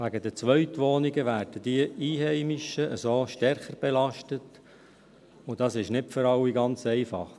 Wegen den Zweitwohnungen werden diese Einheimischen so stärker belastet, und das ist nicht für alle ganz einfach.